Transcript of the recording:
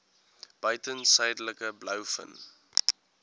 buiten suidelike blouvin